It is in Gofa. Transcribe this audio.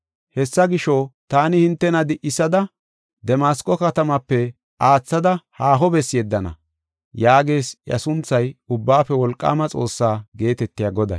Hessa gisho, taani hintena di7isada Damasqo katamaape aathada haaho bessi yeddana” yaagees iya sunthay, Ubbaafe Wolqaama Xoossaa geetetiya Goday.